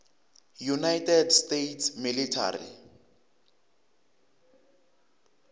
united states military